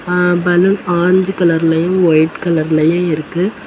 அ balloon orange கலர்லயும் white கலர்லயும் இருக்கு.